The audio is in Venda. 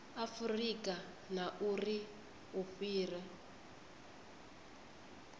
afurika na uri u fhira